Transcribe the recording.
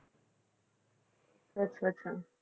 ਅੱਛਾ ਅੱਛਾ।